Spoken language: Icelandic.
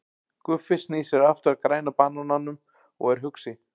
Guffi snýr sér aftur að Græna banananum og er hugsi.